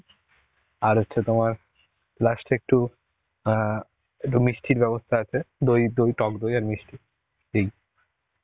আর হচ্ছে তোমার last এ একটু অ্যাঁ একটু মিষ্টির ব্যবস্থা আছে. দই, দই, টক দই আর মিষ্টি. এই.